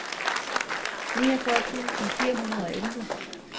niogfyrre tusind fire hundrede og elleve